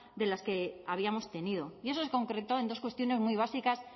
de las que habíamos tenido y eso es concreto en dos cuestiones muy básicas